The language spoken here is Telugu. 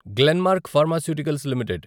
Glenmark pharmaceuticals limited